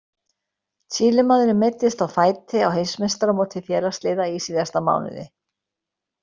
Chilemaðurinn meiddist á fæti á Heimsmeistaramóti félagsliða í síðasta mánuði.